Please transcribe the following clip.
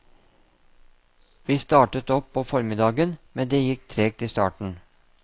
Vi startet opp på formiddagen, men det gikk tregt i starten.